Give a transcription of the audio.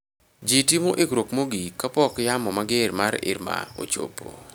Ji timo ikruok mogik kapok yamo mager mar Irma ochopo